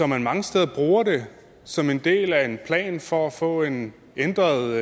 man mange steder bruger det som en del af en plan for at få en ændret